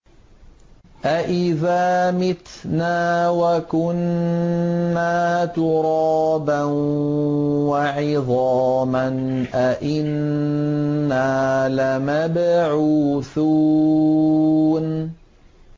أَإِذَا مِتْنَا وَكُنَّا تُرَابًا وَعِظَامًا أَإِنَّا لَمَبْعُوثُونَ